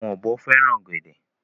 Àwọn ọ̀bọ fẹ́ràn ọ̀gẹ̀dẹ̀.